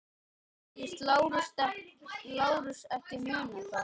Segist Lárus ekki muna það.